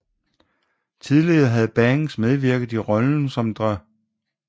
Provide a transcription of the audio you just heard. Tidligere havde Banks medvirket i rollen som Dr